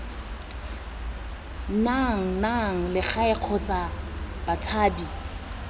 nang naga legae kgotsa batshabi